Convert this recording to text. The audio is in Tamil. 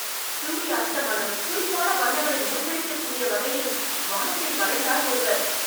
சூரிய அஸ்தமனம், துடிப்பான வண்ணங்களின் மூச்சடைக்கக்கூடிய வகையில் வானத்தை வரைந்தார் ஒருவர்